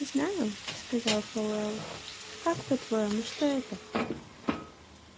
знаю сказал пауэлл как по-твоему что это